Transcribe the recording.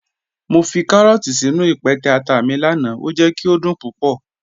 Mọ fi kàrọọ̀tì sínu ìpẹtẹ̀ àtà mi lánà, o jẹ̀ kí o dún púpọ̀.